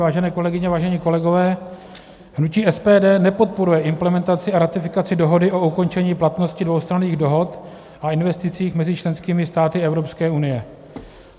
Vážené kolegyně, vážení kolegové, hnutí SPD nepodporuje implementaci a ratifikaci dohody o ukončení platnosti dvoustranných dohod a investicích mezi členskými státy Evropské unie.